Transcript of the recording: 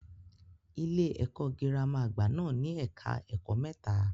Ilé-ẹ̀kọ́ girama àgbà náà ní ẹka ẹ̀kọ́ mẹ́ta.